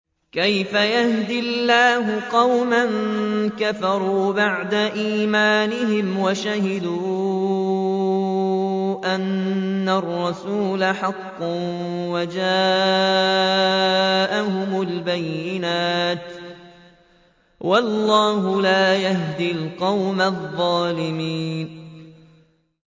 كَيْفَ يَهْدِي اللَّهُ قَوْمًا كَفَرُوا بَعْدَ إِيمَانِهِمْ وَشَهِدُوا أَنَّ الرَّسُولَ حَقٌّ وَجَاءَهُمُ الْبَيِّنَاتُ ۚ وَاللَّهُ لَا يَهْدِي الْقَوْمَ الظَّالِمِينَ